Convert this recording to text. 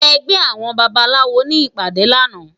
Ègbè áwòn bàbáláwó ni ipàdé làná